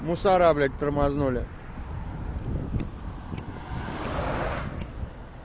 мусора блядь тормознули